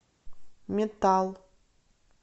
метал